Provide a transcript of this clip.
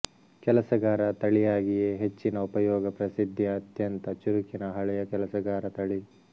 ಕೆಲಸಗಾರ ತಳಿಯಾಗಿಯೇ ಹೆಚ್ಚಿನ ಉಪಯೋಗ ಪ್ರಸಿದ್ಧಿ ಅತ್ಯಂತ ಚುರುಕಿನ ಹಳೆಯ ಕೆಲಸಗಾರ ತಳಿ